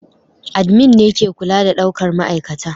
admin ne ke kula da daukar ma'aikata